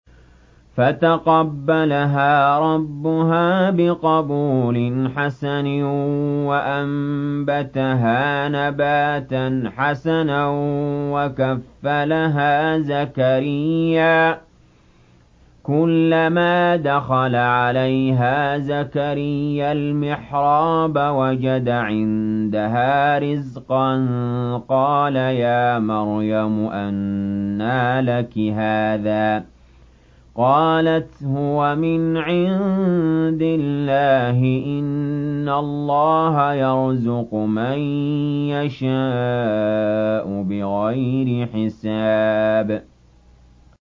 فَتَقَبَّلَهَا رَبُّهَا بِقَبُولٍ حَسَنٍ وَأَنبَتَهَا نَبَاتًا حَسَنًا وَكَفَّلَهَا زَكَرِيَّا ۖ كُلَّمَا دَخَلَ عَلَيْهَا زَكَرِيَّا الْمِحْرَابَ وَجَدَ عِندَهَا رِزْقًا ۖ قَالَ يَا مَرْيَمُ أَنَّىٰ لَكِ هَٰذَا ۖ قَالَتْ هُوَ مِنْ عِندِ اللَّهِ ۖ إِنَّ اللَّهَ يَرْزُقُ مَن يَشَاءُ بِغَيْرِ حِسَابٍ